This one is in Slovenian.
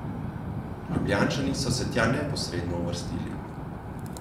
Ljubljančani so se tja neposredno uvrstili.